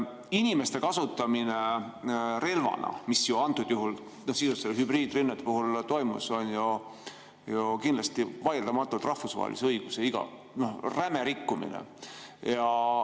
Inimeste kasutamine relvana, mis nende sisuliselt hübriidrünnete puhul ju toimus, on kindlasti vaieldamatult rahvusvahelise õiguse räme rikkumine.